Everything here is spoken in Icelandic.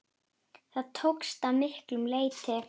Það tókst að miklu leyti.